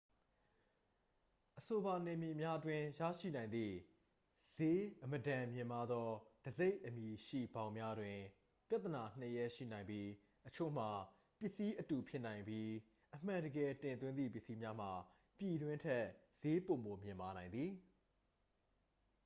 အဆိုပါနယ်မြေများအတွင်း ရရှိနိုင်သည့် စျေးအမတန်မြင့်မားသော တံဆိပ်အမည်ရှိ ဘောင်များတွင် ပြဿနာ နှစ် ရပ်ရှိနိုင်ပြီး အချို့မှာ ပစ္စည်းအတူဖြစ်နိုင်ပြီး အမှန်တကယ် တင်သွင်းသည့် ပစ္စည်းများမှာ ပြည်တွင်းထက် စျေးပိုမိုမြင့်မားနိုင်သည်